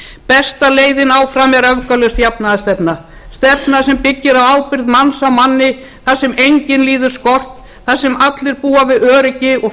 besta leiðin áfram er öfgalaus jafnaðarstefna stefna sem byggir á ábyrgð manns á manni þar sem enginn liður skort þar sem allir búa við öryggi og